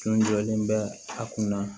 Tun jɔlen bɛ a kunna